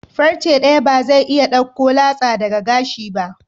Farce daya ba zai iya dauko latsa daga gashi ba.